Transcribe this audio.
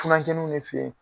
Furakɛliw de fe